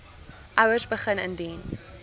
ouers begin indien